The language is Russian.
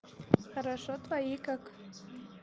хорошо твои как